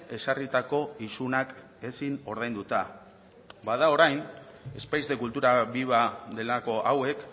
ezarritako isunak ezin ordainduta bada orain espais de cultura viva delako hauek